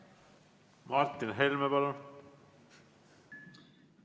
Martin Helme, palun!